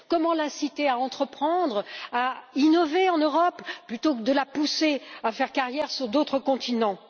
Comment l'inciter à entreprendre, à innover en Europe, plutôt que de la pousser à faire carrière sur d'autres continents?